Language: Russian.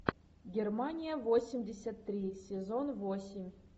германия восемьдесят три сезон восемь